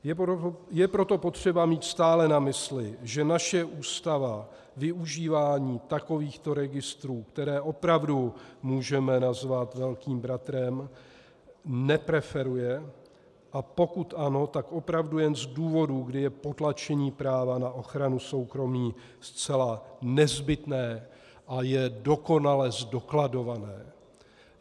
Je proto potřeba mít stále na mysli, že naše ústava využívání takovýchto registrů, které opravdu můžeme nazvat velkým bratrem, nepreferuje, a pokud ano, tak opravdu jen z důvodu, kdy je potlačení práva na ochranu soukromí zcela nezbytné a je dokonale zdokladované.